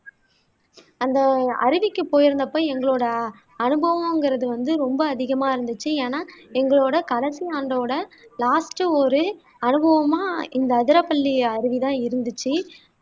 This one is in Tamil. அந்த அருவிக்கு போயிருந்தப்ப எங்களோட அனுபவங்குறது வந்து ரொம்ப அதிகமா இருந்துச்சு ஏன்னா எங்களோட கடைசி ஆண்டோட லாஸ்ட் ஒரு அனுபவமா இந்த அதிரப்பள்ளி அருவி தான் இருந்துச்சு